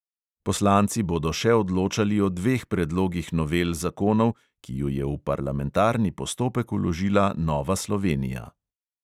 Poslanci bodo še odločali o dveh predlogih novel zakonov, ki ju je v parlamentarni postopek vložila nova slovenija.